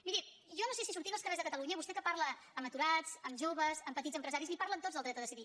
miri jo no sé si sortint als carrers de catalunya vostè que parla amb aturats amb joves amb petits empresaris li parlen tots del dret a decidir